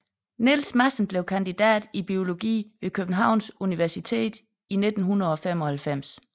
Niels Madsen blev kandidat i biologi ved Københavns Universitet i 1995